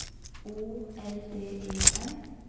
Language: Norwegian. O L D E N